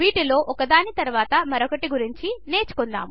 వీటిలో ఒకదాని తరువాత మరొకటి గురించి నేర్చుకుందాము